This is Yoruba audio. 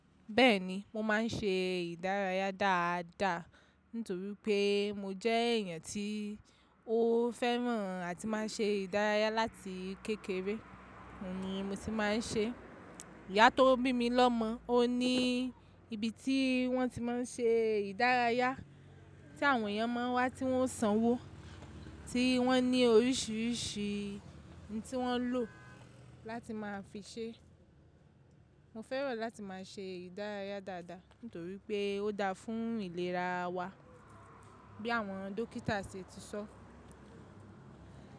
Bẹ́ẹ̀ni, mo máa ń ṣe ìdárayá dáadáa nítorí pé mo jẹ́ èèyàn tí ó fẹ́ràn àti máa ṣe ìdárayá láti kékeré. Óun ni mo ti máa ń ṣe. Iyá tó bí mi lọ́mọ, ó ní ibi tí wọ́n ti máa ń ṣe ìdárayá tí àwọn èèyàn máa ń wá tí wọ́n sanwó, tí wọ́n ní oríṣìíríṣìí ohun tí wọ́n lò láti máa fi ṣe. Mo fẹ́ràn láti máa ṣe ìdárayá dáadáa nítorí pé ó dáa fún ìlera wa bí àwọn dókítà ṣe ti sọ.